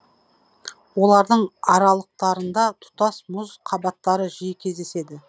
олардың аралықтарында тұтас мұз қабаттары жиі кездеседі